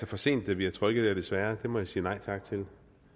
for sent der bliver trykket så jeg må sige nej tak til det